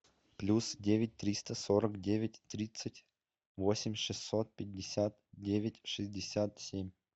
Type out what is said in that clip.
плюс девять триста сорок девять тридцать восемь шестьсот пятьдесят девять шестьдесят семь